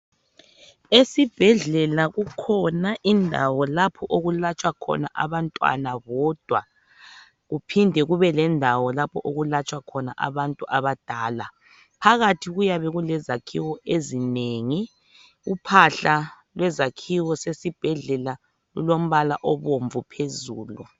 Esibhedlela kukhona indawo lapho okulatshwa khona abantwana bodwa kuphinde kube lendawo lapho okulatshwa khona abantu abadala phakathi kuyabe kulezakhiwo ezinengi uphahla lwezakhiwo zesibhedlela lulombala obomvu phezulu.